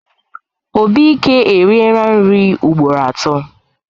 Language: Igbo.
Obike eriela nri ugboro atọ.